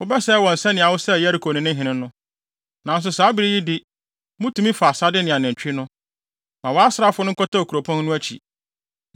Wobɛsɛe wɔn sɛnea wosɛe Yeriko ne ne hene no. Nanso, saa bere yi de, mutumi fa asade ne anantwi no. Ma wʼasraafo no nkɔtɛw kuropɔn no akyi.”